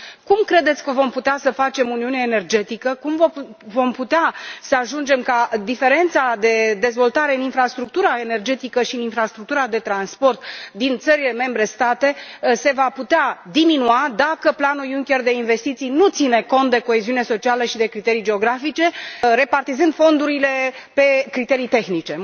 Cum credeți că vom putea să facem Uniunea energetică, cum vom putea să ajungem ca diferența de dezvoltare în infrastructura energetică și infrastructura de transport din țările membre să se poată diminua dacă planul Junker de investiții nu ține cont de coeziunea socială și de criterii geografice, repartizând fondurile pe criterii tehnice?